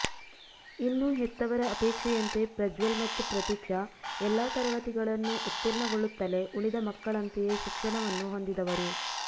ಇನ್ನು ಹೆತ್ತವರ ಅಪೇಕ್ಷೆಯಂತೆ ಪ್ರಜ್ವಲ್ ಮತ್ತು ಪ್ರತೀಕ್ಷಾ ಎಲ್ಲಾ ತರಗತಿಗಳನ್ನೂ ಉತ್ತೀರ್ಣಗೊಳ್ಳುತ್ತಲೇ ಉಳಿದ ಮಕ್ಕಳಂತೆಯೇ ಶಿಕ್ಷಣವನ್ನು ಹೊಂದಿದವರು